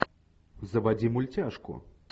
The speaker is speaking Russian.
заводи мультяшку